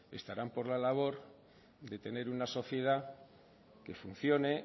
estarán por la labor de tener una sociedad que funcione